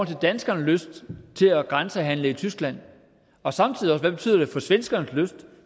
til danskernes lyst til at grænsehandle i tyskland og samtidig også hvad det betyder for svenskernes lyst